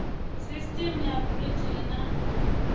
sisteme ya brt ri na